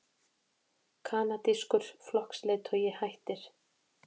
Kanadískur flokksleiðtogi hættir